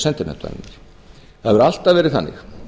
sendinefndarinnar það hefur alltaf verið þannig